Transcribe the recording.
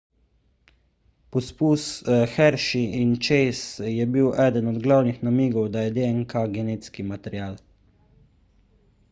poskus hershey in chase je bil eden od glavnih namigov da je dnk genetski material